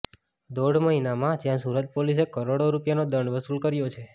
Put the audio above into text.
દોઢ મહિનામાં જ્યાં સુરત પોલીસે કરોડો રૂપિયાનો દંડ વસુલ કર્યો છે